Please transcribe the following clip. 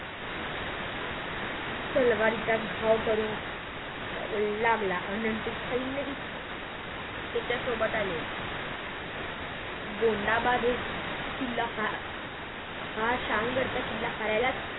तलवारीचा घाव करून लागला नंतर सैन्यही त्याच्या सोबत आले गोंदाबाद हे किल्ला हा शाम गडाचा किल्ला हारायलच